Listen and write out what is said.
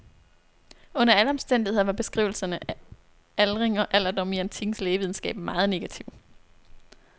Under alle omstændigheder var beskrivelserne af aldring og alderdom i antikkens lægevidenskab meget negative.